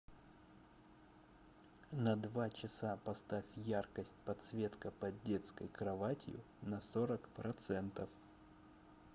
на два часа поставь яркость подсветка под детской кроватью на сорок процентов